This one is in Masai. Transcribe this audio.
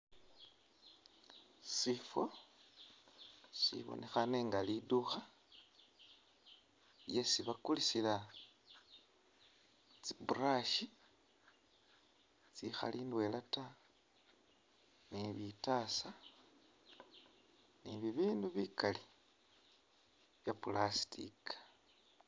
Shifo shibonekhane nga liduka lyesi bakulisila tsi’ brush tsikhali ndwela’taa ni bitasa ni bibindu bikali bya plastic